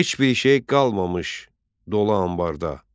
Heç bir şey qalmamış dolu anbarda.